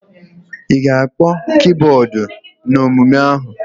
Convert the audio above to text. Ị ga-akpọ kibọọdụ n'omume ahụ!